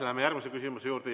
Läheme järgmise küsimuse juurde.